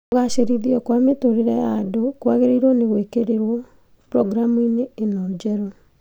Kũgacĩrithio kwa mĩtũrĩre ya andũ kwagĩrĩirwo nĩ gwĩkĩrĩrwo programu-inĩ ĩno njerũ